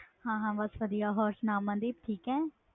ਹਾਂ ਹਾਂ ਵਧੀਆ ਹੋਰ ਸੁਣਾ ਮਨਦੀਪ ਠੀਕ ਹੈ